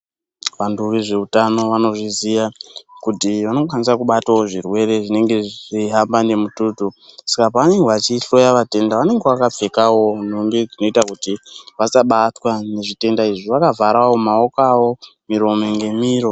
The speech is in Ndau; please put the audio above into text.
Vantu vezveutano vanozviziya kuti vanokwanisa kubatawo zvirwere zvinenge zveihamba nemututu. Saka pavanenge vachihloya vatenda vanenge vakapfekawo nhumbi dzinoita kuti vasabatwawo nezvitenda izvi vakavharawo maoko awo, miromo ngemiro.